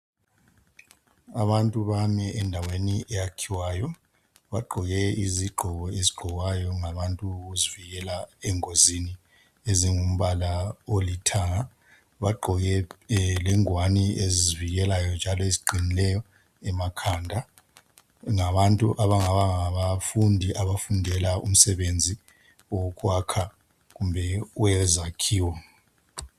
Abantu bami endaweni eyakhiwayo. Bagqoke izigqoko ezigqokwayo ngabantu ukuzivikela, engozini. Ezingumbala olithanga. Bagqoke lengwani ezizivikelayo njalo eziqinileyo emakhanda. Ngabantu abangaba ngabafundi abafundela umsebenzi wokwakha, kumbe owezakhiwo.